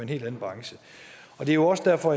helt anden branche det er jo også derfor